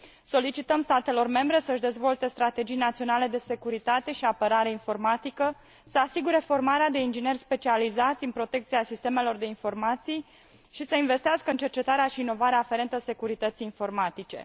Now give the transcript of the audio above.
Solicităm statelor membre să își dezvolte strategii naționale de securitate și apărare informatică, să asigure formarea de ingineri specializați în protecția sistemelor de informații și să investească în cercetarea și inovarea aferentă securității informatice.